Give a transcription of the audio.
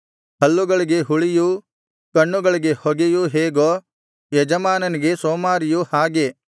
ಹಲ್ಲುಗಳಿಗೆ ಹುಳಿಯೂ ಕಣ್ಣುಗಳಿಗೆ ಹೊಗೆಯೂ ಹೇಗೋ ಯಜಮಾನನಿಗೆ ಸೋಮಾರಿಯು ಹಾಗೆ